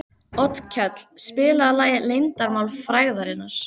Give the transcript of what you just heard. Otkell, spilaðu lagið „Leyndarmál frægðarinnar“.